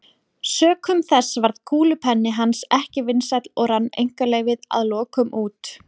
Sökum þess varð kúlupenni hans ekki vinsæll og rann einkaleyfið að lokum út.